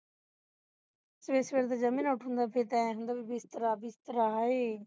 ਸਵੇਰੇ ਸਵੇਰੇ ਤੇ ਜਮਾਂ ਹੀ ਨਹੀਂ ਉਠਦਾ ਫੀਰ ਤੇ ਏਹ ਹੁੰਦਾ ਹੈ ਬਿਸਤਰਾ ਬਿਸਤਰਾ ਹਾਏ